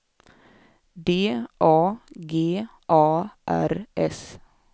D A G A R S